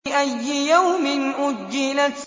لِأَيِّ يَوْمٍ أُجِّلَتْ